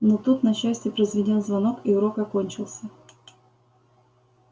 но тут на счастье прозвенел звонок и урок окончился